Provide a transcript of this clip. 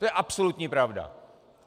To je absolutní pravda.